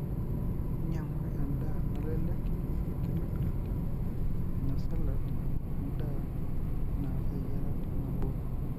inyiangu endaa nalelek enkitobirata, ena salad wendaa na eyiarata nabo.